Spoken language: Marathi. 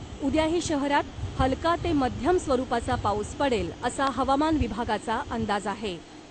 उद्याही शहरात हलका ते मध्यम स्वरूपाचा पाऊस पडेल , असा हवामान विभागाचा अंदाज आहे .